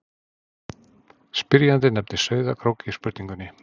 spyrjandi nefnir sauðárkrók í spurningunni